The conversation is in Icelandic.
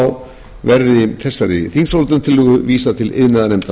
umræðu virðulegi forseti verði þessari þingsályktunartillögu vísað til iðnaðarnefndar